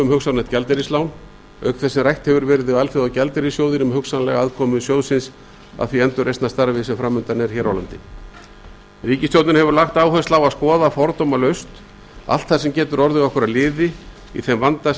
hugsanlegt gjaldeyrislán auk þess sem rætt hefur verið við alþjóðagjaldeyrissjóðinn um hugsanlega aðkomu sjóðsins að því endurreisnarstarfi sem fram undan er hér á landi ríkisstjórnin hefur lagt áherslu á að skoða fordómalaust allt sem getur orðið okkur að liði í þeim vanda